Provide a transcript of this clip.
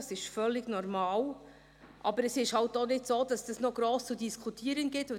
Dies ist völlig normal, aber es ist halt auch nicht so, dass dies noch gross zu diskutieren gibt.